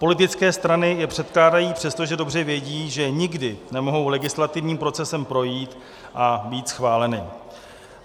Politické strany je předkládají, přestože dobře vědí, že nikdy nemohou legislativním procesem projít a být schváleny.